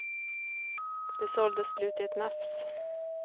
De såldes slut i ett nafs.